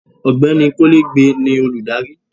ọgbẹni kolegbe ni olùdarí